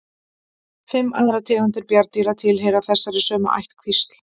Fimm aðrar tegundir bjarndýra tilheyra þessari sömu ættkvísl.